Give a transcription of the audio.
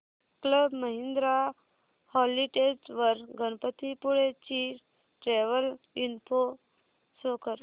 club Mahindra holidays वर गणपतीपुळे ची travel info show कर